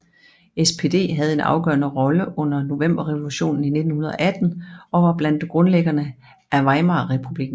SPD havde en afgørende rolle under Novemberrevolutionen i 1918 og var blandt grundlæggerne af Weimarrepublikken